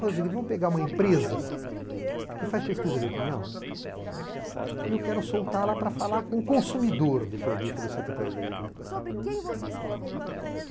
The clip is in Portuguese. vamos pegar uma empresa que faz pesquisa de opinião e eu quero soltá-la para falar com o consumidor do produto da Secretaria da Agricultura.